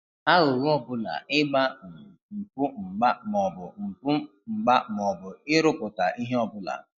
Aghụghọ ọbụla ịgba um mpụ mgba maọbụ mpụ mgba maọbụ ịrụpụta ihe ọbụla